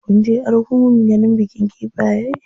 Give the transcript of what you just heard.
Kunje argungun ganin bikin kifaye?